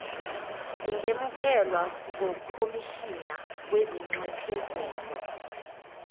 zingemukelwa ngukhomishina wezinxephezelo